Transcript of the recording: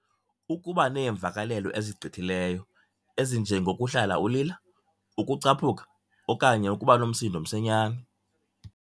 Ukuba neemvakalelo ezigqithileyo, ezinjengo kuhlala ulila, ukucaphuka okanye ukuba nomsindo msinyane.